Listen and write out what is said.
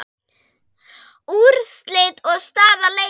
Úrslit og staða leikja